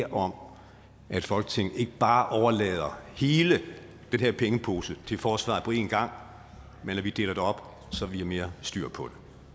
om at folketinget ikke bare overlader hele den her pengepose til forsvaret på én gang men at vi deler det op så vi har mere styr på